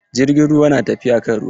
Jirgin ruwan na tafiya kan ruwa.